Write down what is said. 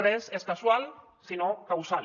res és casual sinó causal